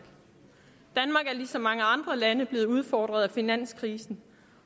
er ligesom mange andre lande blevet udfordret af finanskrisen